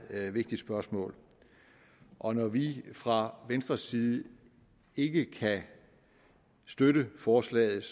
vigtigt spørgsmål og når vi fra venstres side ikke kan støtte forslaget